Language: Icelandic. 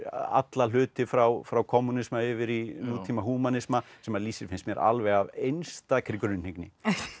alla hluti frá frá kommúnisma yfir í nútíma húmanisma sem hann lýsir finnst mér alveg af einstakri grunnhyggni